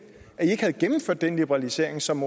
havde gennemført den liberalisering som